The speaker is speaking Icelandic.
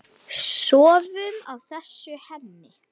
Sofum á þessu, Hemmi.